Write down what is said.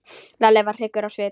Lalli varð hryggur á svip.